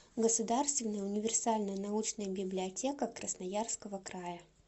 государственная универсальная научная библиотека красноярского края